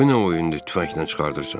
Bu nə oyundur tüfənglə çıxardırsan?